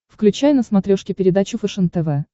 включай на смотрешке передачу фэшен тв